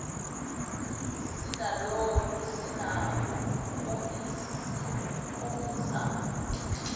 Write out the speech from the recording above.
zinakho ukomisa umphimbo